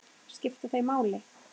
Skipta þau máli?